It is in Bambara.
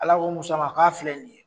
Ala ko Musa ma' ka filɛ ni ye.